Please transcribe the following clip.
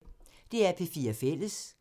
DR P4 Fælles